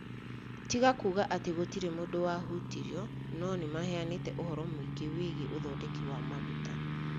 tiga kuuga atĩ gũtirĩ mũndũ wahutirio, no nimaheanĩte ũhoro mũingĩ wĩgiĩ ũthondeki wa maguta.